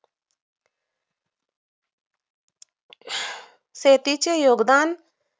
शेतीचे योगदान